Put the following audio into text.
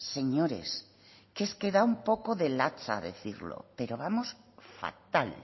señores que es que da un poco de lacha decirlo pero vamos fatal